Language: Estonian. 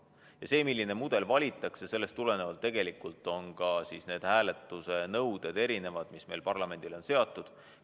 Ja tulenevalt sellest, milline mudel valitakse, erinevad ka hääletuse nõuded, mis meil parlamendile on seatud.